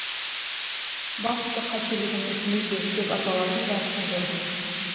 басты қателігіміз неде деп аталатын дәрісін көрдім